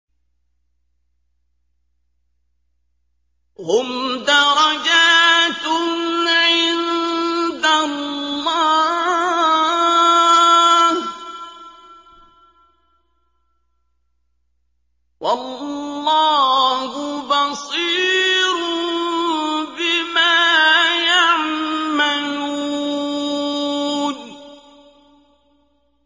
هُمْ دَرَجَاتٌ عِندَ اللَّهِ ۗ وَاللَّهُ بَصِيرٌ بِمَا يَعْمَلُونَ